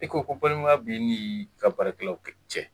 E ko ko balimaya b' i n' ka baarakɛlaw cɛ.